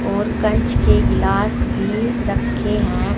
और कंच के गिलास भी रखे हैं।